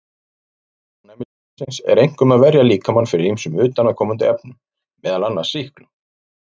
Hlutverk ónæmiskerfisins er einkum að verja líkamann fyrir ýmsum utanaðkomandi efnum, meðal annars sýklum.